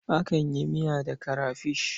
Akan yi miya da karafish.